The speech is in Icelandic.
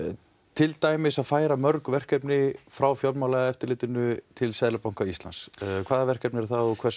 til dæmis að færa mörg verkefni frá fjármálaeftirlitinu til Seðlabanka Íslands hvaða verkefni eru það og hvers